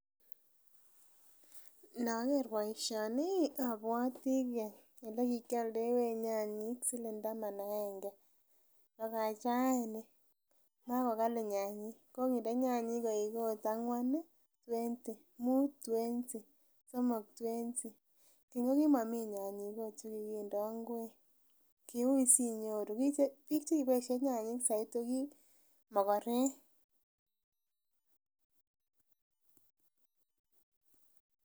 Inoker boisioni abwoti elekikiolndewech nyanyik siling taman agenge bakach rani makokali nyanyik kokinde nyanyik koik ot ang'wan ih twenty, mut ih twenty somok ih twenty . Keny kokimomii nyanyik ot chekindoo ngwek kiui sinyoru, biik chekiboisien nyanyik soiti koki mogorek